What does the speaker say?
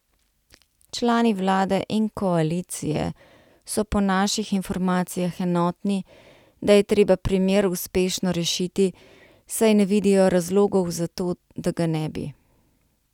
Člani vlade in koalicije so po naših informacijah enotni, da je treba primer uspešno rešiti, saj ne vidijo razlogov za to, da ga ne bi.